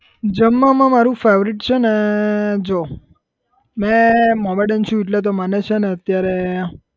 જમવામાં મારું favourite છે ને જો મે મોમેડીન છું એટલે તો મને છે ને અત્યારે